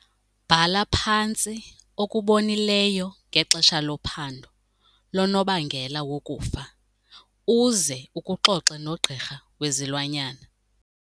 Bhala phantsi okubonileyo ngexesha lophando lonobangela wokufa uze ukuxoxe nogqirha wezilwanyana.